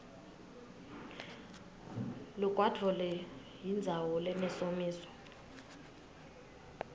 lugwadvule yindzawo lenesomiso